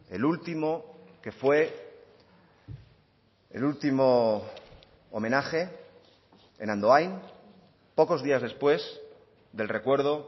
el último que fue el último homenaje en andoain pocos días después del recuerdo